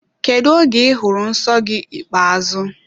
Kedụ oge I hụrụ nsọ gị ikpeazụ?